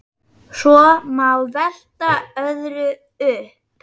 Svo má velta öðru upp.